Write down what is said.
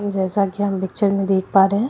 जैसा कि हम पिक्चर में देख पा रहे हैं।